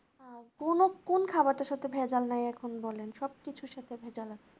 আর কোনো কোন খাবারটা সত্যি ভেজাল নেই এখন বলেন সবকিছুর সাথে ভেজাল আছে